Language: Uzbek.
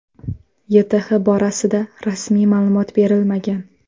YTH borasida rasmiy ma’lumot berilmagan.